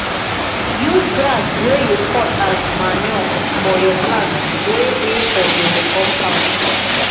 use grass wey you cut as manure for your plants wey dey for your compound